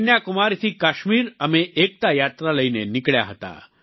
કન્યાકુમારી થી કાશ્મીર અમે એકતા યાત્રા લઈને નીકળ્યા હતા